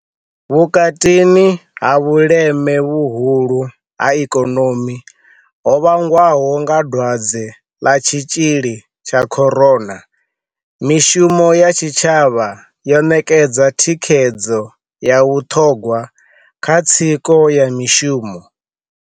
Vhukatini ha vhuleme vhuhulu ha ikonomi ho vhangwaho nga dwadze ḽa tshitzhili tsha Corona, mishumo ya tshitshavha yo ṋekedza thikhedzo ya vhuṱhogwa kha tsiko ya mishumo.